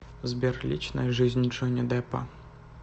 сбер личная жизнь джонни деппа